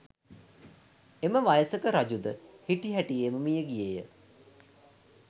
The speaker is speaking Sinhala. එම වයසක රජුද හිටිහැටියේම මිය ගියේය